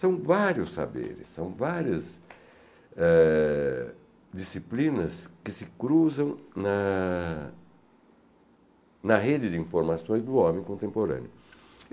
São vários saberes, são várias eh... disciplinas que se cruzam na na rede de informações do homem contemporâneo.